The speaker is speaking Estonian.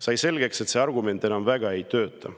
Sai selgeks, et see argument enam väga ei tööta.